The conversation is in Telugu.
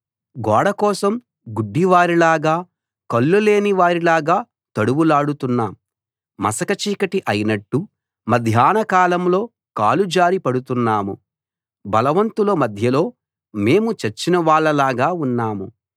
గోడకోసం గుడ్డివారిలాగా కళ్ళులేని వారిలాగా తడవులాడుతున్నాం మసక చీకటి అయినట్టు మధ్యాహ్నకాలంలో కాలుజారి పడుతున్నాము బలవంతుల మధ్యలో మేము చచ్చిన వాళ్ళలాగా ఉన్నాం